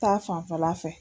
Taa fanfɛla fɛ